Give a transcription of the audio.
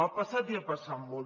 ha passat i ha passat molt